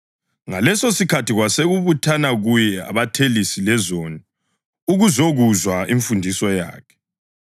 Ngalesosikhathi kwasekubuthana kuye abathelisi lezoni ukuzokuzwa imfundiso yakhe.